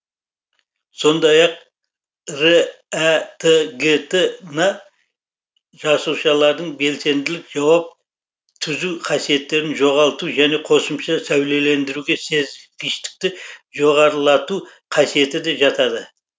сондай ақ рәтгт на жасушалардың белсенділік жауап түзу қасиетін жоғалту және қосымша сәулелендіруге сезгіштікті жоғарлату қасиеті де жатады